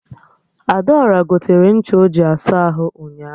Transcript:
Adaora gotere ncha o ji asa ahụ ụnyaahụ